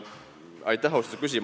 Aitäh, austatud küsija!